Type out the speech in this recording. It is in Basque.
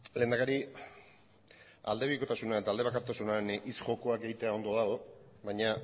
lehendakari aldebikotasunean eta aldebakartasunean hitz jokoak egitea ondo dago baina